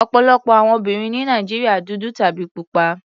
Ọ̀pọ̀lọpọ̀ àwọn obìnrin ní Nàìjíríà dúdú tàbí pupa.